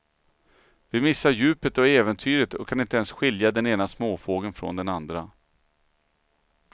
Vi missar djupet och äventyret och kan inte ens skilja den ena småfågeln från den andra.